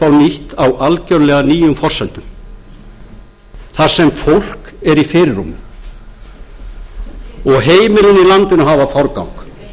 nýtt á algjörlega nýjum forsendum þar sem fólk er í fyrirrúmi og heimilin í landinu hafa forgang